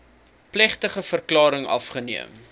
plegtige verklaring afgeneem